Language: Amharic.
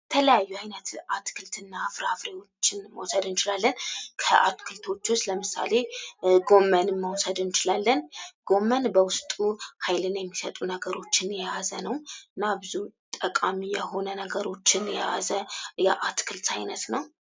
የተለያዩ አይነት አትክልትና ፍራፍሬዎችን መውሰድ እንችላለን :: ከአትክልቶቹ ለምሳሌ ጎመን መውሰድ እንችላለን ጎመን በውስጡ ኃይልን የሚሰጡ ነገሮችን የያዘ ነው እና ብዙ ጠቃሚ የሆነ ነገሮችን የያዘ የአትክልት አይነት ነው ::